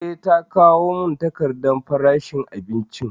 Eh, ta kawo mun takardan farashin abinicin